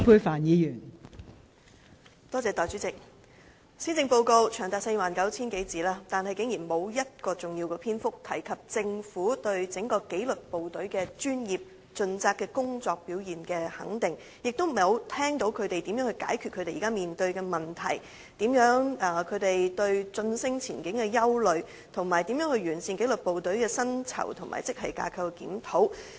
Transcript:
代理主席，施政報告長達 49,000 字以上，但竟然沒有一個重要篇章，表達政府對紀律部隊專業盡責的工作表現的肯定，也未見政府有任何措施解決他們現時面對的問題，對晉升前景的憂慮，以及完善紀律部隊的薪酬和職系架構檢討。